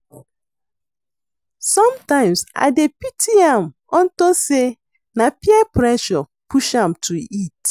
Sometimes I dey pity am unto say na peer pressure push am to it